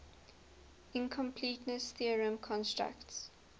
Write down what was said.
incompleteness theorem constructs